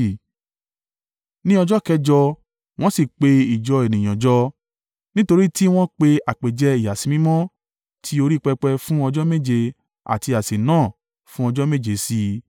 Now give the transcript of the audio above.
Ní ọjọ́ kẹjọ, wọ́n sì pe ìjọ ènìyàn jọ nítorí tí wọ́n pe àpèjẹ ìyàsímímọ́ ti orí pẹpẹ fún ọjọ́ méje àti àsè náà fún ọjọ́ méje sí i.